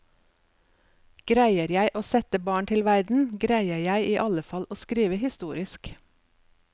Greier jeg å sette barn til verden, greier jeg i alle fall å skrive historisk.